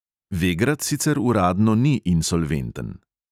Vegrad sicer uradno ni insolventen.